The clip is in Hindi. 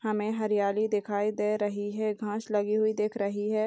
हमें हरियाली दिखाई दे रही है घास लगी हुई दिख रही है।